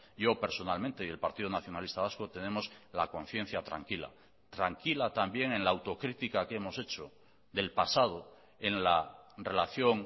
yo personalmente y el partido nacionalista vasco tenemos la conciencia tranquila tranquila también en la autocrítica que hemos hecho del pasado en la relación